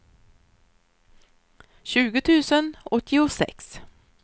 tjugo tusen åttiosex